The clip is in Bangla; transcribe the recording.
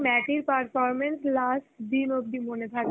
ম্যাটির performance last দিন অব্দি মনে থাকবে.